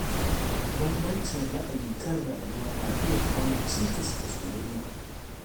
Bambancin ra’ayi kan rayuwa na iya kawo cikas ga soyayya.